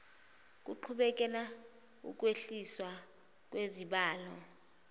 kuqhubeke ukwehliswa kwesibalo